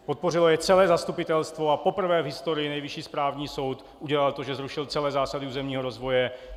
Podpořilo je celé zastupitelstvo a poprvé v historii Nejvyšší správní soud udělal to, že zrušil celé zásady územního rozvoje.